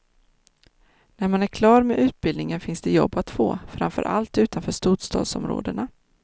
När man är klar med utbildningen finns det jobb att få, framförallt utanför storstadsområdena.